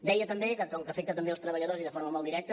deia també que com que afecta també els treballadors i de forma molt directa